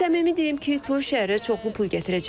Səmimi deyim ki, toy şəhərə çoxlu pul gətirəcək.